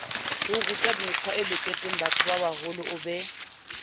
orutamekgwae loketsengbatho babaholo o be